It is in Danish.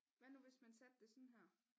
Hvad nu hvis man satte det sådan her